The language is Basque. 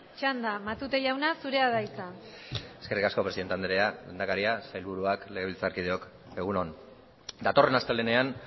txanda matute jauna zurea da hitza eskerrik asko presidente andrea lehendakaria sailburuak legebiltzarkideok egun on datorren astelehenean